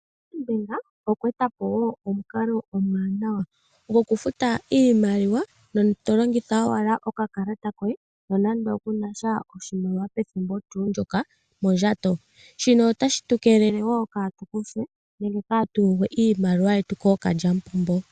Standard Bank okwa eta po omukalo omuwanawa gokufuta iimaliwa to longitha okakalata koye nonando kunasha oshimaliwa pethimbo ndyoka mondjato, otashi tu keelele ka tu kuthwe iimaliwa koombudhi.